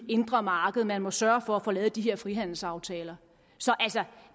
indre marked man må sørge for at få lavet de her frihandelsaftaler så